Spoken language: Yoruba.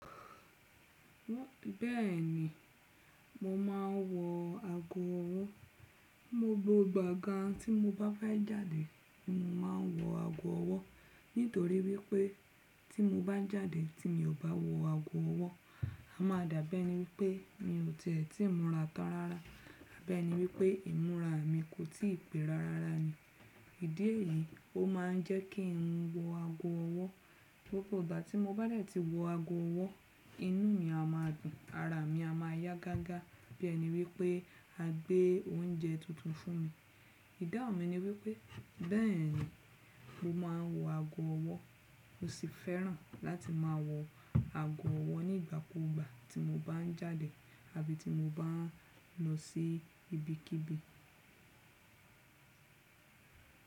Bẹ́ẹ̀ni, mo máa ń wọ ago ọwọ́. Gbogbo ìgbà gan tí mo bá bá jáde, mo máa ń wọ ago ọwọ́ nítorí wípé tí mo bá jáde tí mi ò bá wọ ago ọwọ́, a máa dàgbé ní wípé mi ò tẹ́tí múra tán rárá. Bẹ́ẹ́ni wípé ìmúra mi kò tí ì pẹ́ rárá ni. Ìdí èyí ó máa ń jẹ́ kí ń wọ ago ọwọ́. Gbogbo ìgbà tí mo bá lè ti wọ ago ọwọ́, inú mi a máa gùn, ara mi a máa yá gágá. Bí èni wípé a gbé oúnjẹ tuntun fún mi. Ìdáhùn mi ni wípé bẹ́ẹ̀ni mo máa ń wọ ago ọwọ́. Mo sì fẹ́ràn láti máa wọ ago ọwọ́ nígbàkugba tí mo bá ń jáde àbí ti mo bá ń lọ sí ibikíbi.